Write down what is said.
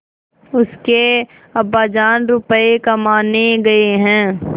उसके अब्बाजान रुपये कमाने गए हैं